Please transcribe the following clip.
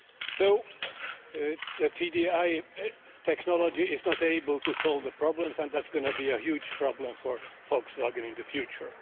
So the TDI technology is not able to solve the problems, and that is going to be a huge problem for Volkswagen in the future.